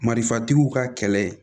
Marifatigiw ka kɛlɛ